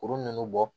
Kuru ninnu bɔ